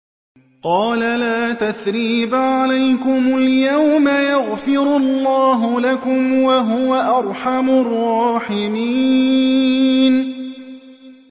قَالَ لَا تَثْرِيبَ عَلَيْكُمُ الْيَوْمَ ۖ يَغْفِرُ اللَّهُ لَكُمْ ۖ وَهُوَ أَرْحَمُ الرَّاحِمِينَ